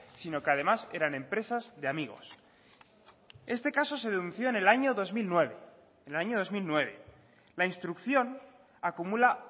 sino que además eran empresas de amigos este caso se denunció en el año dos mil nueve la instrucción acumula